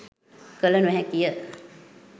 කළ නොහැකි ය.